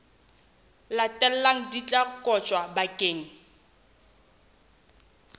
latelang di tla kotjwa bakeng